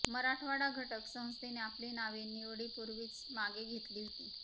मराठवाडा घटक संस्थेने आपली नावे निवडीपूर्वीच मागे घेतली होती